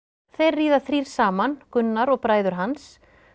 þeir ríða þrír saman Gunnar og bræður hans